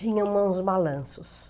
Tinha uns balanços.